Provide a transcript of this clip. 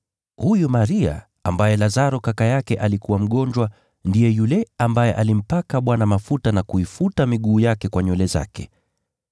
Huyu Maria, ambaye Lazaro kaka yake alikuwa mgonjwa, ndiye yule ambaye alimpaka Bwana mafuta na kuifuta miguu yake kwa nywele zake.